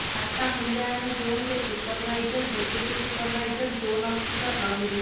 ଖାତା ମୂଲ୍ୟାୟନ ଜୋନ୍ରେ supervisor deputy supervisor zone officer ରହିବେ